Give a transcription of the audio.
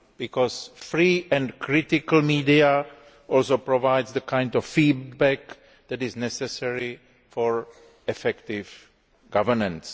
After all, free and critical media provide the kind of feedback that is necessary for effective governance.